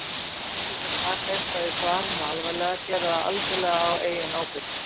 Lesendur sem taka eitthvað í svarinu alvarlega gera það algjörlega á eigin ábyrgð.